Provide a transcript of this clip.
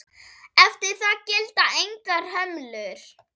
Eftir það gilda engar hömlur.